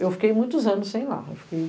Eu fiquei muitos anos sem ir lá. Eu fiquei